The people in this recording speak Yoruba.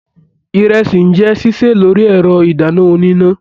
Ìrẹsì n jẹ ṣiṣe lórí ẹrọ idanna oníná.